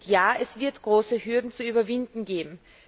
Ja, es wird große Hürden zu überwinden geben.